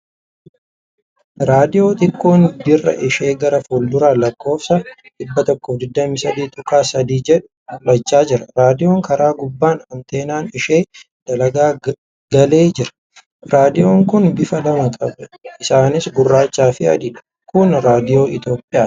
Raadiyoo xiqqoon dirra ishee gara fuulduraan lakkoofsa 123.3 jedhu mul'achaa jira . Raadiyoon karaa gubbaan anteenaan ishee dalga galee jira. Raadiyoon kun bifa lama qaba. Isaanis gurraacha fi adiidha. kun raadiyoo Itiyoophiyaati!